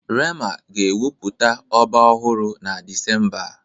rema ga-ewepụta ọba ọhụrụ na Disemba a